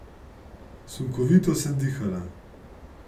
Sunkovito sem dihala.